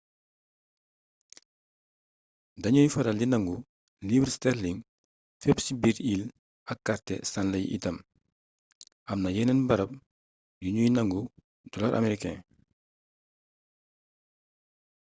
dañuy faral di nangu livre sterling fépp ci biir îles ak kàrte stanley itam amna yeneen baram yu ñuy nangu dollar américain